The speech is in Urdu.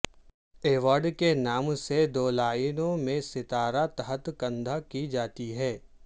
ایوارڈ کے نام سے دو لائنوں میں ستارہ تحت کندہ کی جاتی ہے